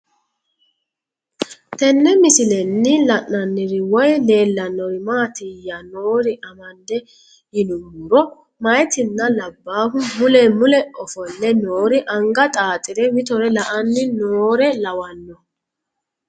Tenne misilenni la'nanniri woy leellannori maattiya noori amadde yinummoro mayiittinna labbahu mule mule ofolle noori anga xaaxxire mitore la'anni noore lawanno